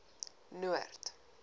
noord